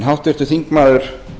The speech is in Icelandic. háttvirtur þingmaður